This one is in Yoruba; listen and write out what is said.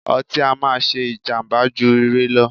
ọtí á máà ṣé jàmbá jù ire lọ.